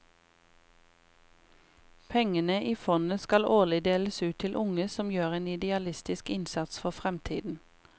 Pengene i fondet skal årlig deles ut til unge som gjør en idealistisk innsats for fremtiden.